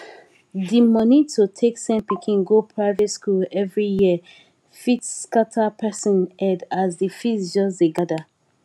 di money to take send pikin go private school every year fit scatter person head as di fees just dey gather